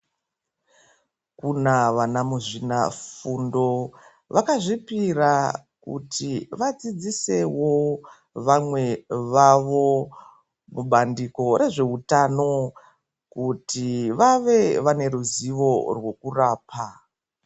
Kuna vana muzvina fundo vaka zvipira kuti vadzidzisewo vamwe vavo ku bandiko re zveutano kuti vave vane ruzivo rweku rapa.